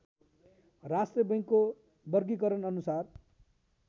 राष्ट्र बैङ्कको वर्गीकरणअनुसार